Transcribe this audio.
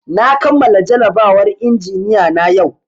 Na kamala jarabawar injiniya na yau